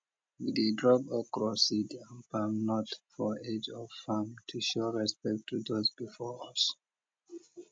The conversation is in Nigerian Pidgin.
we dey drop okro seed and palm nut for edge of farm to show respect to those before us